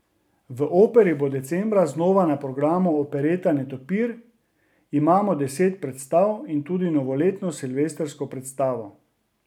V operi bo decembra znova na programu opereta Netopir, imamo deset predstav in tudi novoletno silvestrsko predstavo.